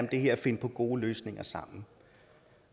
det her og finde på gode løsninger sammen